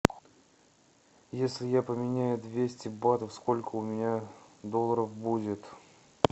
если я поменяю двести батов сколько у меня долларов будет